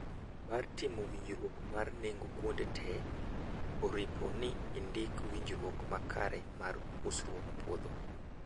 Bang' timo winjruok mar nengo kuonde te oripo ni ndiko winjruok makare mar usruok puodho